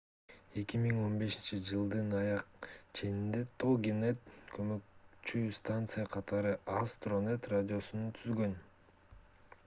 2015-жылдын аяк ченинде toginet көмөкчү станция катары astronet радиосун түзгөн